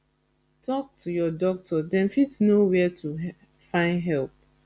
tok to your doctor dem fit know where to find help